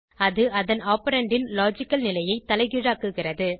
அது அதன் ஆப்பரண்ட் ன் லாஜிக்கல் நிலையை தலைகீழாக்குகிறது